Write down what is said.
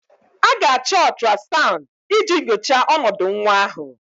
A ga-achọ ultrasound iji nyochaa ọnọdụ nwa ahụ